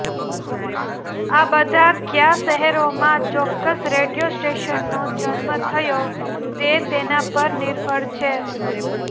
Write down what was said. આ બધા કયા શહેરોમાં ચોક્કસ રેડિયો સ્ટેશનનો જન્મ થયો તે તેના પર નિર્ભર છે